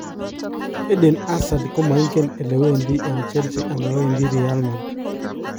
Eden Hazard komoigen elewedi eng Chelsea anan wendi Real Madrid